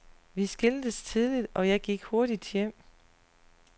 Vi skiltes tidligt og jeg gik hurtigt hjem.